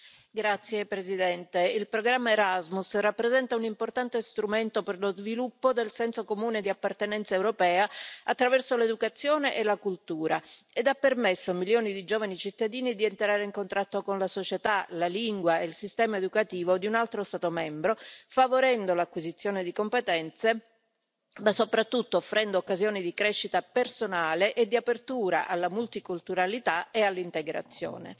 Signor Presidente, onorevoli colleghi, il programma Erasmus rappresenta un importante strumento per lo sviluppo del senso comune di appartenenza europea attraverso l'educazione e la cultura e ha permesso a milioni di giovani cittadini di entrare in contatto con la società, la lingua e il sistema educativo di un altro Stato membro, favorendo l'acquisizione di competenze ma soprattutto offrendo occasioni di crescita personale e di apertura alla multiculturalità e all'integrazione.